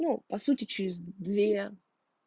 ну по сути через две